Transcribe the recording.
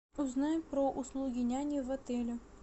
узнай про услуги няни в отеле